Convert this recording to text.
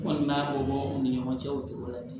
N kɔni b'a fɔ u ni ɲɔgɔn cɛ o de ko la ten